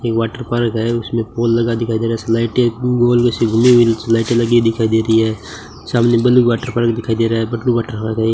Water park है उसमें फूल लगा दिखाई दे रहा स्लाइटें स्लाइटें लगी दिखाई दे रही है सामने ब्लू वाटर पार्क दिखाई दे रहा है ब्लू वाटर पार्क है ये।